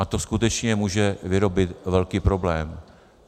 A to skutečně může vyrobit velký problém.